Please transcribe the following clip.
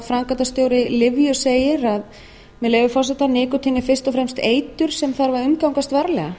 framkvæmdastjóri lyfju segir með leyfi forseta nikótín er fyrst og fremst eitur sem þarf að umgangast varlega